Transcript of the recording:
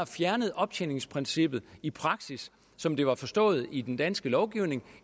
fjernede optjeningsprincippet i praksis som det var forstået i den danske lovgivning